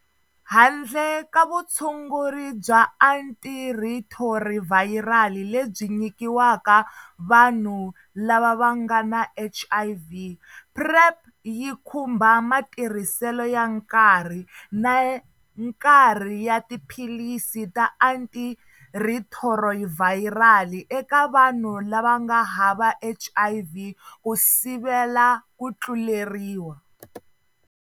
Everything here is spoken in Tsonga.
Handle ka vutshunguri bya antirhithorivhayirali lebyi nyikiwaka vanhu lava va nga na HIV, PrEP yi khumba matirhiselo ya nkarhi na nkarhi ya tiphilisi ta antirhithorivhayirali eka vanhu lava nga hava HIV ku sivela ku tluleriwa.